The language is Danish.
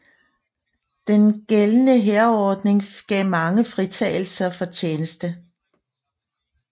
Den gældende hærordning gav mange fritagelse for tjeneste